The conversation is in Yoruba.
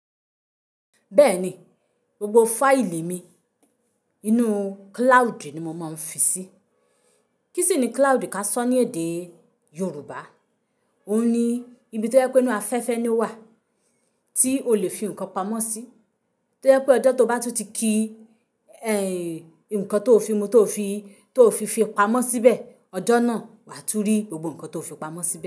Bẹ́ẹ̀ni, gbogbo fáìlì mi inú cloud ni mo máa ń fi sí. Kí sì ni cloud ká sọ ní èdè Yorùbá? Òun ni ibi tó yẹ pé inú afẹ́fẹ́ ni ó wà, tí o lè fi nǹkan pamọ́ sí. Tó yẹ pé ọjọ́ tó bá tún ti ki, ǹkan tó fi mu tó fi tó fi fi pamọ́ síbẹ̀, ọjọ́ náà wà á tún rí gbogbo ǹkan tó fi pamọ́ síbẹ̀